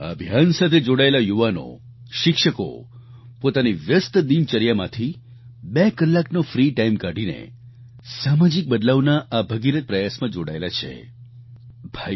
આ અભિયાન સાથે જોડાયેલા યુવાનો શિક્ષકો પોતાની વ્યસ્ત દિનચર્યામાંથી 2 કલાકનો ફ્રી ટાઈમ કાઢીને સામાજિક બદલાવના આ ભગીરથ પ્રયાસમાં જોડાયેલા છે